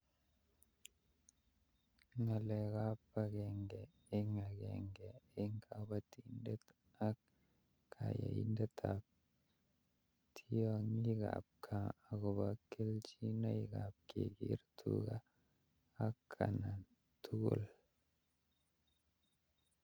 Ngalaletab agenge eng agenge eng kabatindet akkanyaindetab tiongikab gaa kelchinoikab kekere tuga atkan tugul